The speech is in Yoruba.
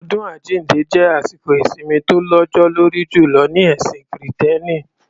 Ọdún àjínde jẹ́ àsìkò ìsimi tó lọ́jọ́ lórí jùlọ ní ẹ̀sìn kìrìtẹ́nì.